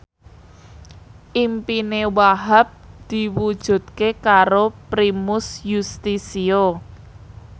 impine Wahhab diwujudke karo Primus Yustisio